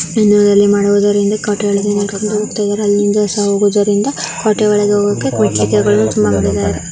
ಇನ್ನುದಲ್ಲಿ ಮಾಡುವುದರಿಂದ ಕೋಟೆ ಒಳಗೆ ಹೋಗ್ತಾ ಇದೆರೆ ಅಲ್ಲಿಂದ್ ಹೋಗುವದರಿಂದ ಕೋಟೆ ಒಳಗೆ ಹೋಗಲು ತುಂಬಾ ಮಾಡಿದ್ದಾರೆ .